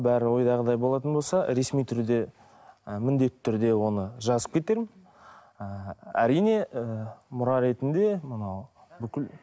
бәрі ойдағыдай болатын болса ресми түрде і міндетті түрде оны жазып кетемін і әрине і мұра ретінде мынау бүкіл